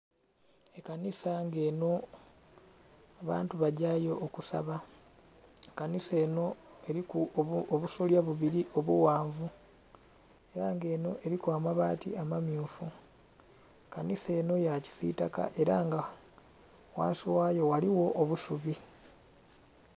Ekanisa nga enho abantu bagyayo okusaba, kanisa enho eriku obusulya bubiri obughanvu era nga enho eriku ababaati ama myufu, kanisa enho ya kisitaka era nga ghansi ghayo ghaligho obusubi.